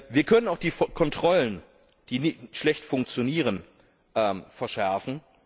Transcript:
Wir können auch die Kontrollen, die schlecht funktionieren, verschärfen.